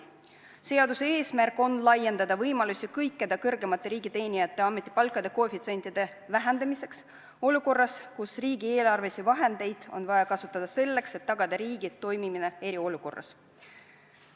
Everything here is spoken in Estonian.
Seaduse eesmärk on laiendada võimalusi kõikide kõrgemate riigiteenijate ametipalkade koefitsientide vähendamiseks olukorras, kus riigieelarvelisi vahendeid on vaja kasutada selleks, et tagada riigi toimimine eriolukorras.